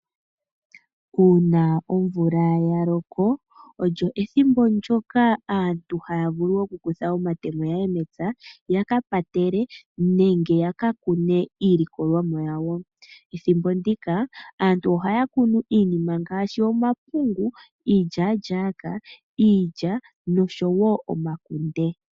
Uuna omvula yaloko, olyo ethimbo ndyoka aantu haavulu okutha omatemo yakapatele nenge yaka kune iilikolomwa ya wo. Ethimbo ndika aantu ohaakunu iikunomwa ngaashi omapungu, iilyalyaka, iilya nosho woo omakunde.